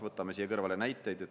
Võtame siia kõrvale näiteid.